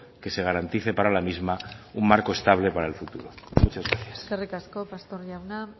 que se garantice para la misma un marco estable para el futuro muchas gracias eskerrik asko pastor jauna